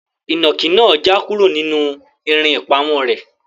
Inaki naa ja kuro ninu irin ipamo re